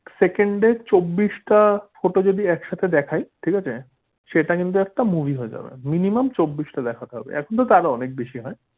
সেকেন্ডে চব্বিশ টা photo যদি একসাথে দেখায় ঠিক আছে সেটা কিন্তু একটা movie হয়ে যাবে minimum চব্বিশ টা দেখাতে হবে এখন তা তার অনেক বেশি হয়।